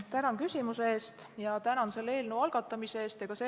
Tänan küsimuse eest ja tänan selle eelnõu algatamise eest!